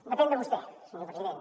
depèn de vostè senyor president